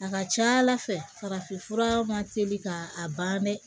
A ka ca ala fɛ farafinfura ma teli ka a ban dɛ